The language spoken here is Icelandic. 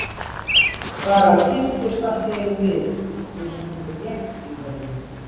Klara kippist allt í einu við eins og hún hafi gleymt einhverju.